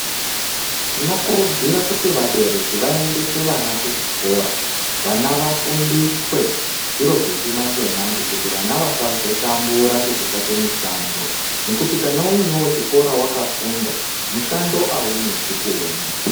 Tinokurudzira kuti vabereki vaendese vana kuzvikora, vana vafundiswe zviro zvechimanje-manje, vana vasazotambura nekutsvaka mishando nekuti kana uinewo chikora wakafunda, mushando aunesi kuona.